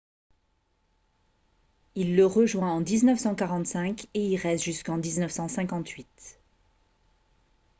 il le rejoint en 1945 et y reste jusqu'en 1958